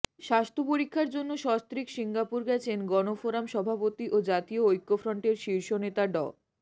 স্বাস্থ্য পরীক্ষার জন্য সস্ত্রীক সিঙ্গাপুর গেছেন গণফোরাম সভাপতি ও জাতীয় ঐক্যফ্রন্টের শীর্ষ নেতা ড